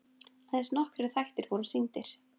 Aðeins nokkrir þættir voru sýndir.